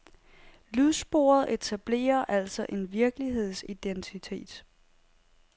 Lydsporet etablerer altså en virkelighedsidentitet.